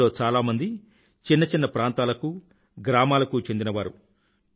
వీరిలో చాలామంది చిన్న చిన్న ప్రాంతాలకూ గ్రామాలకు చెందినవారు